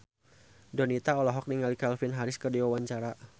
Donita olohok ningali Calvin Harris keur diwawancara